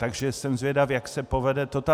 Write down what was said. Takže jsem zvědav, jak se povede toto.